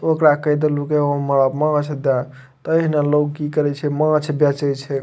ओकरा कह देलु की हमरा माछ देए ते ओहने लोग की करे छै माछ बेचे छै।